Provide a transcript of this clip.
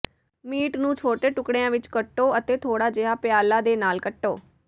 meat ਨੂੰ ਛੋਟੇ ਟੁਕੜਿਆਂ ਵਿੱਚ ਕੱਟੋ ਅਤੇ ਥੋੜਾ ਜਿਹਾ ਪਿਆਲਾ ਦੇ ਨਾਲ ਕੱਟੋ